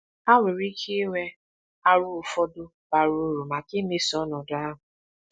Ha nwere ike inwe aro ụfọdụ bara uru maka imeso ọnọdụ ahụ.